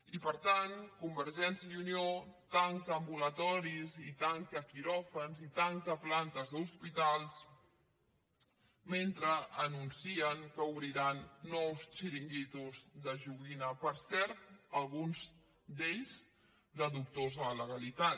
i per tant convergència i unió tanca ambulatoris i tanca quiròfans i tanca plantes d’hospitals mentre anuncien que obriran nous xiringuitos de joguina per cert alguns d’ells de dubtosa legalitat